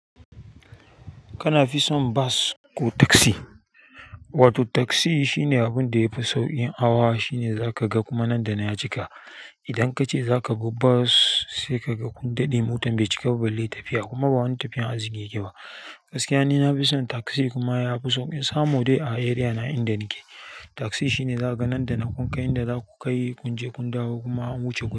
Kana fi son bas ko taksi? Wato taksi shine abin da yafi sauƙi hawa shine zaka ga kuma nan da ban ya cika. Idan kace zaka bi bus sai ka ga kunɗaɗe motar bai cika ba, balle tafiya kuma ba wani tafiyan arziƙi yake ba. Gaskiya ni nafi son taksi kuma yafi sauƙi. Samo dai a area na inda nake. Taksi shine zaka ga nan da nan, ƙunkai inda zaku kai kunje kun dawo kuma an wuce guda.